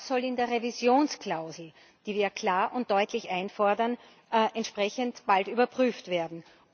Das soll in der Revisionsklausel, die wir ja klar und deutlich einfordern, entsprechend bald überprüft werden.